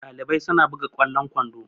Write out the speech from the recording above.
Ɗalibai suna buga ƙwallon kwando